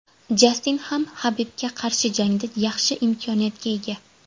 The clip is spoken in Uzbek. Jastin ham Habibga qarshi jangda yaxshi imkoniyatga ega.